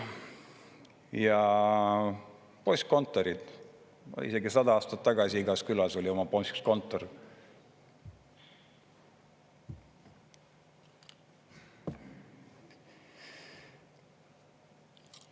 Ja postkontorid – isegi 100 aastat tagasi igas külas oli oma postkontor.